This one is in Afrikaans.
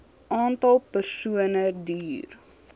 aantal persone duur